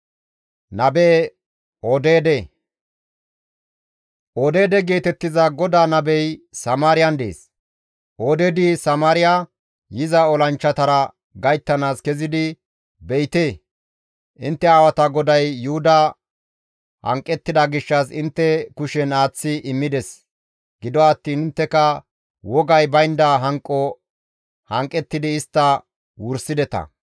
Odeede geetettiza GODAA nabey Samaariyan dees; Odeedi Samaariya yiza olanchchatara gayttanaas kezidi, «Be7ite, intte aawata GODAY Yuhuda hanqettida gishshas intte kushen aaththi immides; gido attiin intteka wogay baynda hanqo hanqettidi istta wursideta.